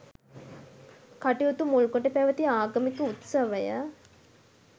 කටයුතු මුල්කොට පැවති ආගමික උත්සවය